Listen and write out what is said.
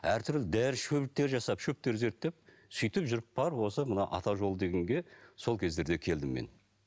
әртүрлі дәрі шөптер жасап шөптер зерттеп сөйтіп жүріп барып осы мына ата жолы дегенге сол кездерде келдім мен